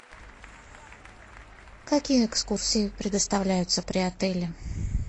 какие экскурсии предоставляются при отеле